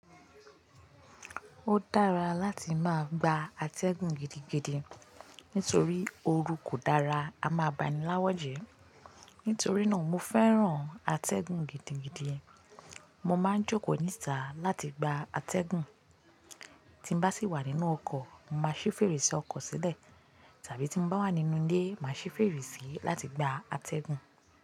Ó dára láti máa gba atẹ́gùn gidigidi nítorí ooru kò dára, a máa baníláwọ́ jẹ. Nítorí náà mo fẹ́ràn atẹ́gùn gidigidi. Mo máa ń jókòó nítà láti gba atẹ́gùn. Tí mo bá sì wà nínú ọkọ̀, màá ṣí fèrèsé ọkọ̀ sílẹ̀ tàbí tí mo bá wà nínú ilé, màá ṣí fèrèsé láti gba atẹ́gùn.